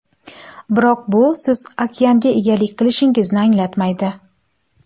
Biroq bu siz okeanga egalik qilishingizni anglatmaydi.